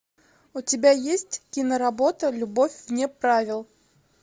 у тебя есть киноработа любовь вне правил